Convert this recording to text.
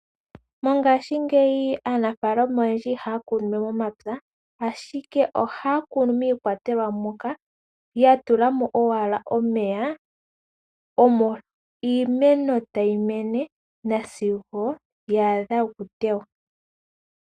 Mongashingeyi aanafalama oyendji ihaya kunu we momapya, ashike ohaya kunu miikwatelwa moka ya tulamo owala omeya, omo iimeno tayi mene nasigo ya adha oku teywa.